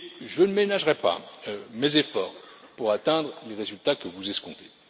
Je ne ménagerai pas mes efforts pour atteindre les résultats que vous escomptez.